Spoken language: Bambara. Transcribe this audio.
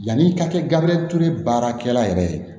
Yanni i ka kɛ gabriel ture baarakɛla yɛrɛ ye